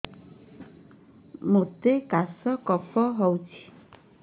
ମୋତେ କାଶ କଫ ହଉଚି